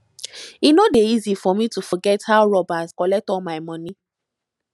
e no dey easy for me to forget how robbers collect all my moni